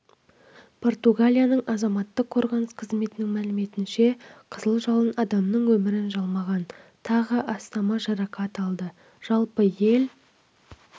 португалияның азаматтық қорғаныс қызметінің мәліметінше қызыл жалын адамның өмірін жалмаған тағы астамы жарақат алды жалпы ел